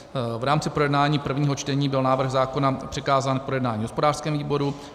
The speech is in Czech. V rámci projednávání prvního čtení byl návrh zákona přikázán k projednání hospodářskému výboru.